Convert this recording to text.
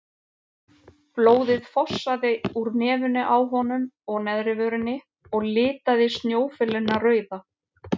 Blóðið fossaði úr nefinu á honum og neðri vörinni og litaði snjófölina rauða.